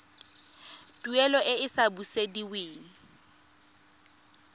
tuelo e e sa busediweng